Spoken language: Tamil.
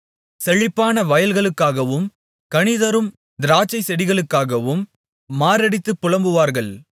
செழிப்பான வயல்களுக்காகவும் கனிதரும் திராட்சைச் செடிகளுக்காகவும் மாரடித்துப் புலம்புவார்கள்